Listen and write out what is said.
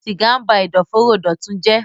siga nba Ẹ̀dọ̀fóró Dọtun jé.